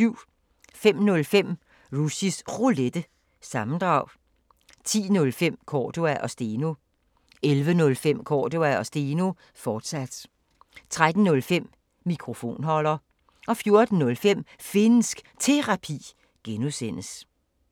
05:05: Rushys Roulette – sammendrag 10:05: Cordua & Steno 11:05: Cordua & Steno, fortsat 13:05: Mikrofonholder 14:05: Finnsk Terapi (G)